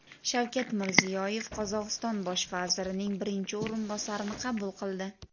Shavkat Mirziyoyev Qozog‘iston bosh vazirining birinchi o‘rinbosarini qabul qildi.